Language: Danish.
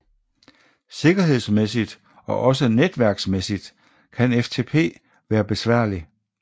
Sikkerhedsmæssigt og også netværksmæssigt kan FTP være besværlig